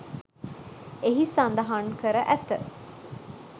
එහි සඳහන් කර ඇත.